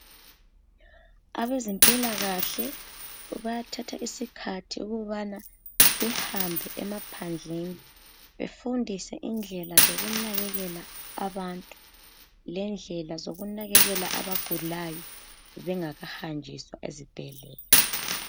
Abezimpilakahle bayathatha isikhathi ukubana behambe emaphandleni befundise indlela zokunakekela abantu lendlela zokunakekela abagulayo bengakahanjiswa ezibhedlela.